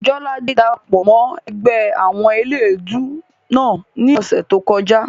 Jọládé dara pọ̀ mọ́ ẹgbẹ́ àwọn eléèdúú náà ní ọ̀sẹ̀ tó kọjá